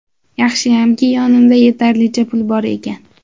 Yaxshiyamki, yonimda yetarlicha pul bor ekan.